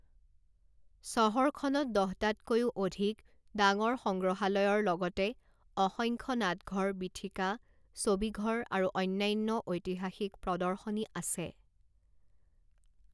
চহৰখনত দহটাতকৈও অধিক ডাঙৰ সংগ্ৰহালয়ৰ লগতে অসংখ্য নাটঘৰ, বীথিকা, ছবিঘৰ আৰু অন্যান্য ঐতিহাসিক প্ৰদৰ্শনী আছে।